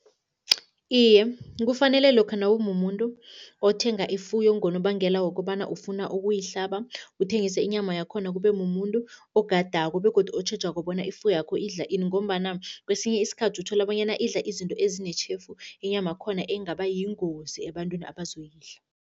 Iye, kufanele lokha nawumumuntu othenga ifuyo ngonobangela wokobana ufuna ukuyihlaba, uthengise inyama yakhona, kube mumuntu ogadako begodu otjhejako bona ifuyakho idla ini ngombana kwesinye isikhathi uthola bonyana idla izinto ezinetjhefu, inyamakhona engaba yingozi ebantwini abazoyidla.